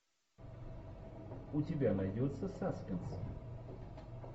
у тебя найдется саспенс